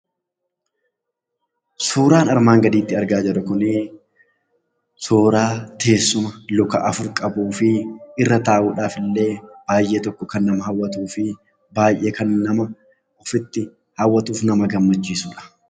Suuraan armaan gaditti argaa jirru kunii suuraa teessuma luka afur qabuu fi irra taa'uudhaafillee baay'ee tokko kan nama hawwatuu fi baay'ee kan nama ofitti hawwatuuf nama gammachiisudha.